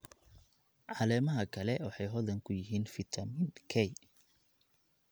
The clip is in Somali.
Caleemaha kale waxay hodan ku yihiin fitamiin K.